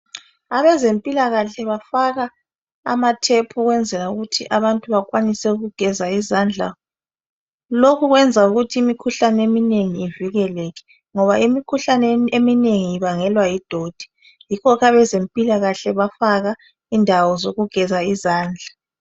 Abazempilakahle bafaka amathephu kwenzela ukuthi abantu bekwanise ukugezwa izandla. Lokhu kwenza ukuthi imikhuhlane eminengi ivikeleke ngoba imikhuhlane eminengi ibangelwa yidoti, yikho abezempilakahle bafaka indawo zokugeza izandla.